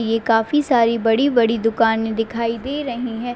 ये काफी सारी बड़ी-बड़ी दुकाने दिखाई दे रही है।